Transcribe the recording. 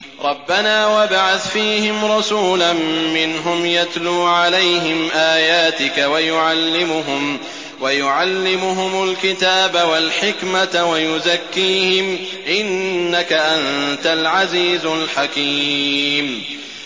رَبَّنَا وَابْعَثْ فِيهِمْ رَسُولًا مِّنْهُمْ يَتْلُو عَلَيْهِمْ آيَاتِكَ وَيُعَلِّمُهُمُ الْكِتَابَ وَالْحِكْمَةَ وَيُزَكِّيهِمْ ۚ إِنَّكَ أَنتَ الْعَزِيزُ الْحَكِيمُ